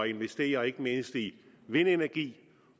investere i ikke mindst vindenergi